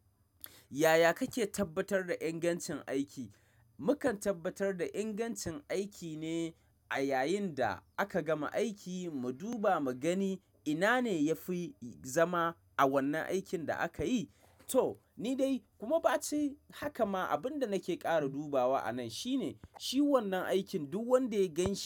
Yaya kake tabbatar da ingancin aiki? Mukan tabbatar da ingancin aiki ne a yayin da aka gama aiki. Mu duba mu gani, ina ne ya fi zama a wannan aikin da akayi. To ni dai, kuma bacin haka ma, abin da nake ƙara dubawa anan shine, shi wannan aikin duk wanda ya ganshi.